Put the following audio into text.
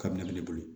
Kabini bɛ ne bolo